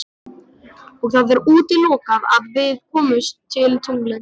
Og það er útilokað að við komust til tunglsins.